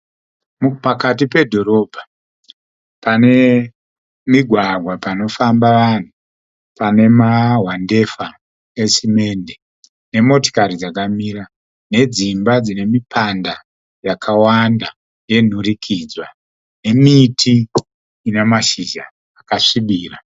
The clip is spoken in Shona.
Pakati pedhorobha, pane migwagwa panofamba vanhu pane mahwandefa esimende, nemotokari dzakamira, nedzimba dzine mipanda yakawanda yenhurikidzwa, nemiti ine mashizha akasvibira.